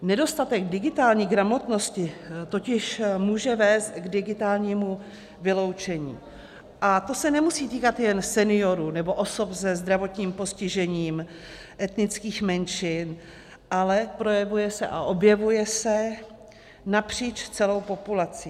Nedostatek digitální gramotnosti totiž může vést k digitálnímu vyloučení, a to se nemusí týkat jen seniorů nebo osob se zdravotním postižením, etnických menšin, ale projevuje se a objevuje se napříč celou populací.